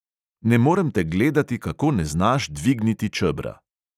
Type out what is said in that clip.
Ne morem te gledati, kako ne znaš dvigniti čebra.